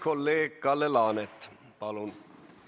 Kolleeg Kalle Laanet, palun!